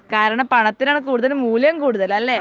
കാരണം പണത്തിന്നാണ് കൂടുതൽ മൂല്യം കൂടുതൽ അല്ലെ